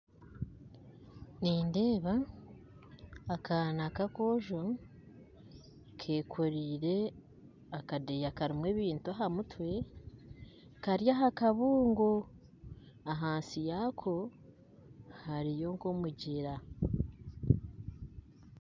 Nindeeba akaana kakojo Kekoreire akadeeya kebintu ahamutwe Kari ahakabuungo ahansi yaako hariyo nkomugyera